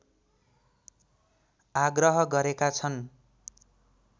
आग्रह गरेका छन्